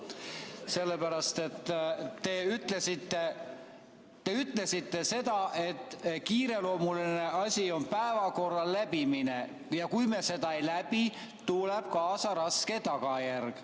Sellepärast, et te ütlesite seda, et kiireloomuline asi on päevakorra läbimine ja kui me seda ei läbi, tuleb kaasa raske tagajärg.